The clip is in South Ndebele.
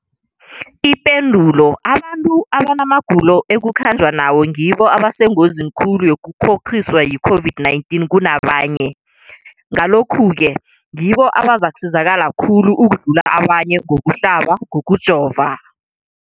Ipendulo, abantu abanamagulo ekukhanjwa nawo ngibo abasengozini khulu yokukghokghiswa yi-COVID-19 kunabanye, Ngalokhu-ke ngibo abazakusizakala khulu ukudlula abanye ngokuhlaba, ngokujova.